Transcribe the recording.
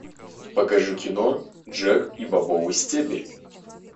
покажи кино джек и бобовый стебель